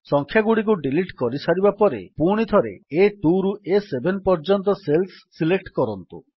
ସଂଖ୍ୟାଗୁଡ଼ିକୁ delete କରିସାରିବା ପରେ ପୁଣିଥରେ ଆ2 ରୁ ଆ7 ପର୍ଯ୍ୟନ୍ତ ସେଲ୍ସ ସିଲେକ୍ଟ କରନ୍ତୁ